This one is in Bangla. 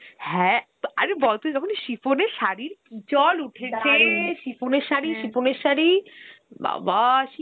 হ্যাঁ আরে বল তুই তখন shiffon এর সারীর কি চল shiffon এর , shiffon এর সারী বাবা